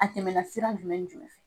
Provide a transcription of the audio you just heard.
A tɛmɛna sira jumɛn jumɛn fɛ ?